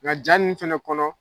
Nka jaa ninnu fɛnɛ kɔnɔ